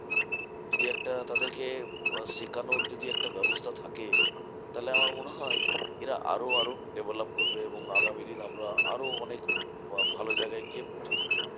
যদি একটা তাদেরকে শেখানোর যদি একটা ব্যবস্থা থাকে, তাহলে আমার মনে হয় এরা আরও আরও develop করবে এবং আগামী দিন আমরা আরও অনেক বা ভালো জায়গায় গিয়ে পৌঁছতে পারবো।